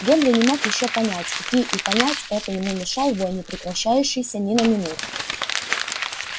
генри не мог ещё понять какие и понять это ему мешал вой не прекращающийся ни на минуту